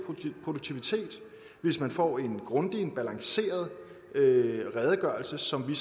produktivitet hvis man får en grundig en balanceret redegørelse som vi